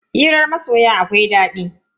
Hirar masoya akwai daɗi.